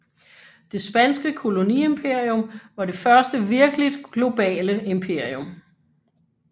Det spanske koloniimperium var det første virkeligt globale imperium